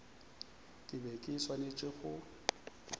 ke be ke swanetše go